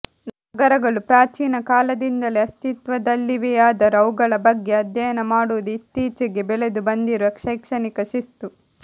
ನಗರಗಳು ಪ್ರಾಚೀನ ಕಾಲದಿಂದಲೇ ಅಸ್ತಿತ್ವದಲ್ಲಿವೆಯಾದರೂ ಅವುಗಳ ಬಗ್ಗೆ ಅಧ್ಯಯನ ಮಾಡುವುದು ಇತ್ತೀಚೆಗೆ ಬೆಳೆದು ಬಂದಿರುವ ಶೈಕ್ಷಣಿಕ ಶಿಸ್ತು